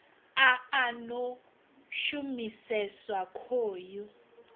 a a no shumiseswa khoyu